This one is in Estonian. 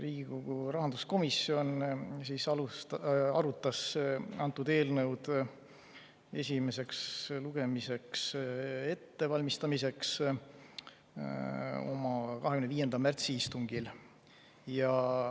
Riigikogu rahanduskomisjon arutas antud eelnõu esimeseks lugemiseks ettevalmistamist oma 25. märtsi istungil.